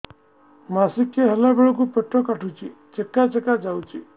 ମାସିକିଆ ହେଲା ବେଳକୁ ପେଟ କାଟୁଚି ଚେକା ଚେକା ଯାଉଚି